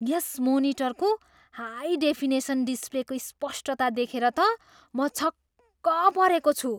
यस मोनिटरको high definition डिस्प्लेको स्पष्टता देखेर त म छक्क परेको छु।